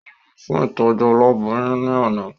Ó lọ fún ìtọ́jú aboyún ní àná